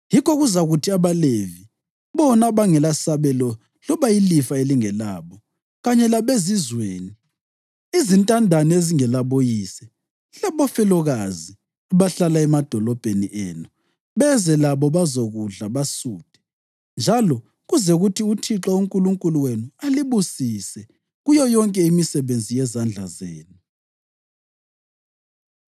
yikho kuzakuthi abaLevi (bona abangelasabelo loba ilifa elingelabo) kanye labezizweni, izintandane ezingelaboyise labafelokazi abahlala emadolobheni enu beze labo bazokudla basuthe, njalo kuze kuthi uThixo uNkulunkulu wenu alibusise kuyo yonke imisebenzi yezandla zenu.”